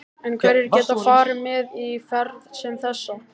En hverjir geta farið með í ferð sem þessa?